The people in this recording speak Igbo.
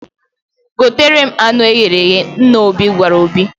"Gotere m anụ e ghere eghe!", Nna Obi gwara Obi